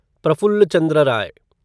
Praful Chandra Rai